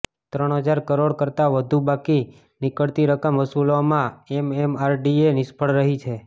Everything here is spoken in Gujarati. ત્રણ હજાર કરોડ કરતાં વધુ બાકી નીકળતી રકમ વસૂલવામાં એમએમઆરડીએ નિષ્ફળ રહી છે